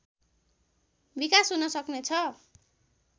विकास हुन सक्नेछ